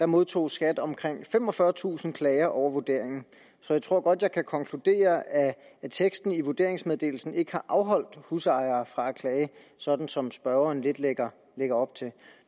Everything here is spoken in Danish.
modtog skat omkring femogfyrretusind klager over vurderingen så jeg tror godt jeg kan konkludere at teksten i vurderingsmeddelelsen ikke har afholdt husejere fra at klage sådan som spørgeren lidt lægger lægger op til